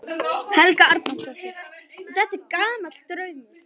Helga Arnardóttir: Og er þetta gamall draumur?